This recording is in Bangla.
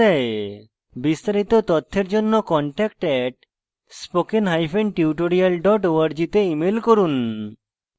বিস্তারিত তথ্যের জন্য contact @spokentutorial org তে ইমেল করুন